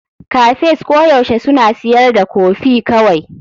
Cafes koyaushe suna siyar da kofi kawai.